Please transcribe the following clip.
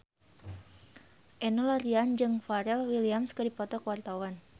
Enno Lerian jeung Pharrell Williams keur dipoto ku wartawan